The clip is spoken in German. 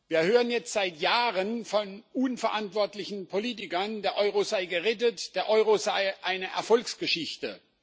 Wir hören jetzt seit Jahren von unverantwortlichen Politikern, der Euro sei gerettet, der Euro sei eine Erfolgsgeschichte.